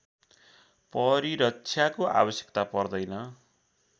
परिरक्षाको आवश्यकता पर्दैन